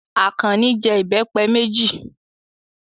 Àkànní jẹ ìbẹ́pẹ méjì.